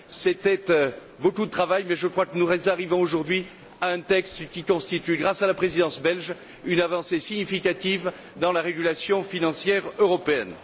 C'était beaucoup de travail mais je crois que nous arrivons aujourd'hui à un texte qui constitue, grâce à la Présidence belge, une avancée significative dans la régulation financière européenne.